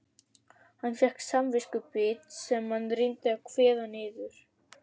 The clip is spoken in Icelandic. Hann fékk samviskubit sem hann reyndi að kveða niður.